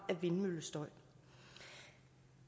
af vindmøllestøj